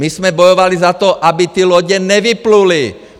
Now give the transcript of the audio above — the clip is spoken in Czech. My jsme bojovali za to, aby ty lodě nevypluly!